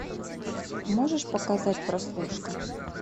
можешь показать прослушка